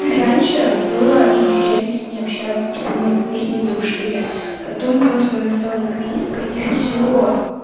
раньше было интересно с ней общаться типа мы мы с ней дружили потом просто она стала эгоисткой и все